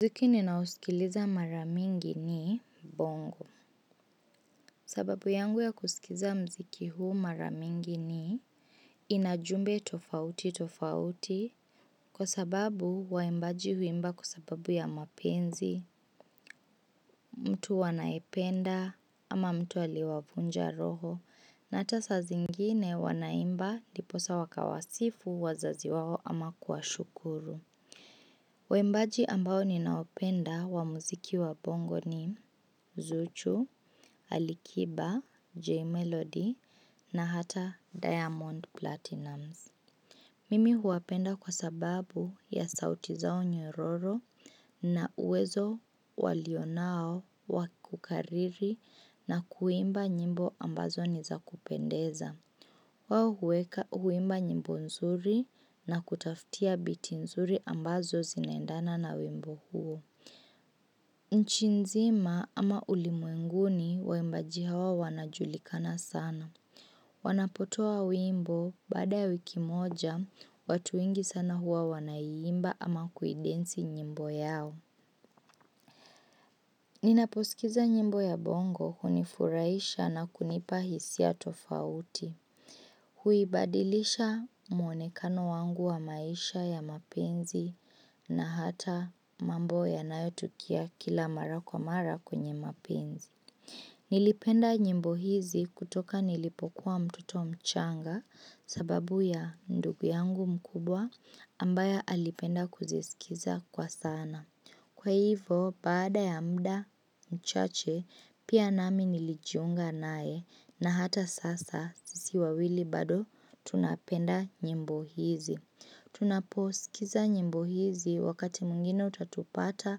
Muziki ninaosikiliza mara mingi ni bongo. Sababu yangu ya kusikiza muziki huu mara mingi ni ina jumbe tofauti tofauti. Kwa sababu waimbaji huimba kwa sababu ya mapenzi, mtu anayependa au mtu aliyewavunja roho na hata saa zingine wanaimba ndiposa wakawasifu wazazi wao ama kuwashukuru. Waimbaji ambao ninawapenda wa muziki wa bongo ni Zuchu, Ali Kiba, J Melody na hata Diamond Platnamz. Mimi huwapenda kwa sababu ya sauti zao nyororo na uwezo walio nao wa kukariri na kuimba nyimbo ambazo nizakupendeza. Wao huweka, huimba nyimbo nzuri na kutafutia biti nzuri ambazo zinaendana na wimbo huo. Nchi nzima ama ulimwenguni, waimbaji hawa wanajulikana sana. Wanapotoa wimbo baada ya wiki moja watu wengi sana huwa wanaiimba ama kuidensi nyimbo yao. Ninaposikiza nyimbo ya bongo hunifurahisha na kunipa hisia tofauti. Huibadilisha muonekano wangu wa maisha ya mapenzi na hata mambo yanayotukia kila mara kwa mara kwenye mapenzi. Nilipenda nyimbo hizi kutoka nilipokuwa mtoto mchanga sababu ya ndugu yangu mkubwa ambaye alipenda kuziskiza kwa sana. Kwa hivyo baada ya muda mchache pia nami nilijiunga naye na hata sasa sisi wawili bado tunapenda nyimbo hizi. Tunaposikiza nyimbo hizi wakati mwingine utatupata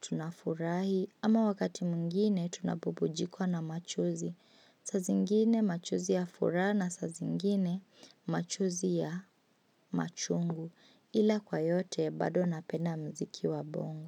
tunafurahi ama wakati mwingine tunabubujikwa na machozi. Saa zingine machozi ya furaha na saa zingine machozi ya machungu ila kwa yote bado napenda muziki wa bongo.